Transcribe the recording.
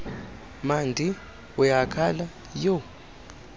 mandi uyakhala yho